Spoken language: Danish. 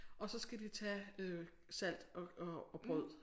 Og så skal de tage øh salt og og og brød